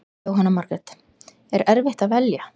Jóhanna Margrét: Er erfitt að velja?